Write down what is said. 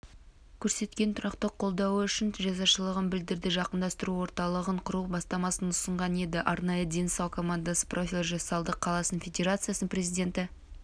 көрсеткен тұрақты қолдауы үшін ризашылығын білдірді жақындастыру орталығын құру бастамасын ұсынған еді арнайы дені сау командасы профилі жасалды қаласының федерациясының президенті